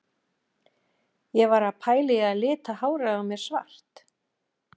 Ég var að pæla í að lita hárið á mér svart?